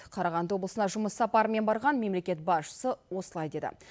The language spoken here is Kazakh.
қарағанды облысына жұмыс сапарымен барған мемлекет басшысы осылай деді